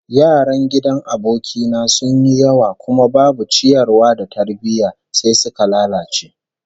Yaran gidan aboki na sun yi yawa kuma babu ciyarwa da tarbiyya, sai suka lalace